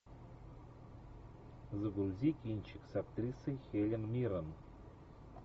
загрузи кинчик с актрисой хелен миррен